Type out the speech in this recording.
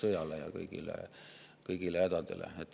–, vaatamata sõjale ja kõigile hädadele.